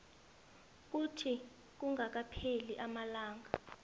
kuthi kungakapheli amalanga